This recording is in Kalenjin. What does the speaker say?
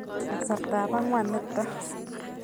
Kasartaab angwaan nitoo